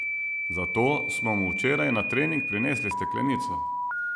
Zato smo mu včeraj na trening prinesli steklenico.